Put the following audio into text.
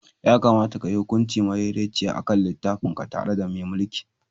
Ya kamata ka yi hukunci madaidaiciya a kan littafinka tare da mai mulki.